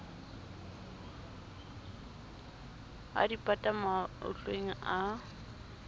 a di pata matlwaneng a